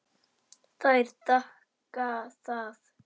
Þær þakka það.